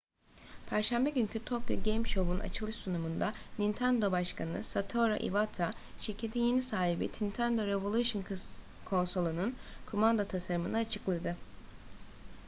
perşembe günkü tokyo game show'un açılış sunumunda nintendo başkanı satoru iwata şirketin yeni nintendo revolution konsolunun kumanda tasarımını açıkladı